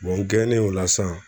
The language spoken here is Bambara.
n gɛnen o la san